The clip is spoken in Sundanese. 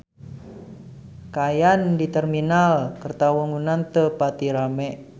Kaayaan di Terminal Kertawangunan teu pati rame